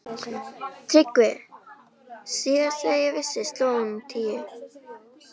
TRYGGVI: Síðast þegar ég vissi sló hún tíu.